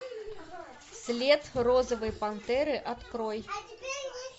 след розовой пантеры открой